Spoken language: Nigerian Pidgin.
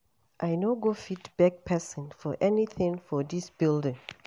I no go fit beg person for anything for dis building